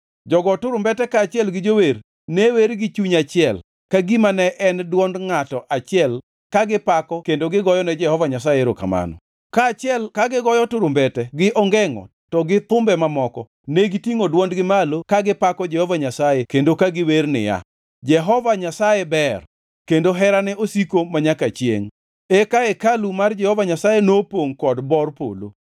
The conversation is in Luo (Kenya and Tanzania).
Jogo turumbete kaachiel gi jower ne wer gi chuny achiel ka gima ne en dwond ngʼato achiel ka gipako kendo goyone Jehova Nyasaye erokamano. Kaachiel ka gigoyo turumbete gi ongengʼo to gi thumbe mamoko negitingʼo dwondgi malo ka gipako Jehova Nyasaye kendo ka giwer niya, “Jehova Nyasaye ber; kendo herane osiko manyaka chiengʼ.” Eka hekalu mar Jehova Nyasaye nopongʼ kod bor polo,